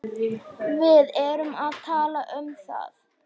Við erum að tala um það!